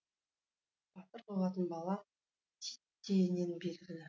батыр болатын бала титтейінен белгілі